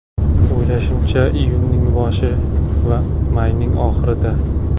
O‘ylashimacha, iyunning boshi yoki mayning oxirida.